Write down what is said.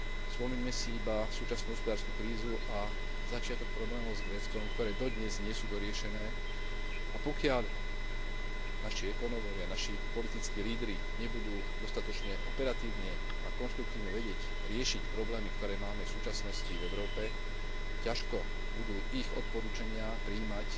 Spomeňme iba súčasnú hospodársku krízu a začiatok problémov s Gréckom, ktoré dodnes nie sú doriešené, a pokiaľ naši ekonómovia, naši politickí lídri, nebudú dostatočne operatívne a konštruktívne vedieť riešiť problémy, ktoré máme v súčasnosti v Európe, ťažko budú ich odporúčania prijímať